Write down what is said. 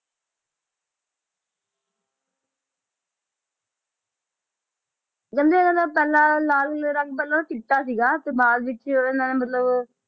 ਕਹਿੰਦੇ ਇਹਦਾ ਪਹਿਲਾਂ ਲਾਲ ਰੰਗ ਪਹਿਲਾਂ ਚਿੱਟਾ ਸੀਗਾ ਤੇ ਬਾਅਦ ਵਿੱਚ ਉਹਨਾਂ ਨੇ ਮਤਲਬ